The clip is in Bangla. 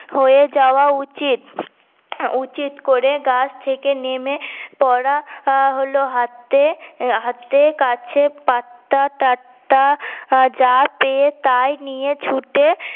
হয়ে যাওয়া উচিৎ হম উচিৎ করে গাছ থেকে নেমে পরা হল হাতে হাতে কাছে পাত্তা তাত্তা যা পেয়ে তা নিয়ে ছুটে